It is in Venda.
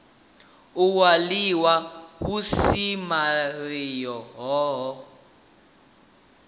u waliwa ha vhusimamilayo hohe